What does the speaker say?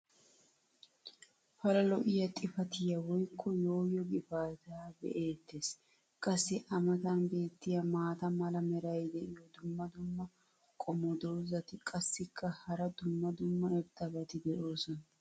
pala lo'iya xifatiya woykko yooyo gifaataa be'eetees. qassi a matan beetiya maata mala meray diyo dumma dumma qommo dozzati qassikka hara dumma dumma irxxabati doosona.